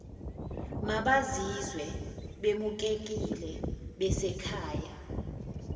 mabazizwe bemukelekile besekhaya